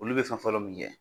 Olu bɛ fɛn fɔlɔ min kɛ.